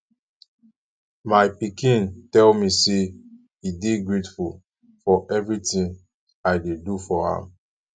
my pikin tell me say e dey grateful for everything i dey do for am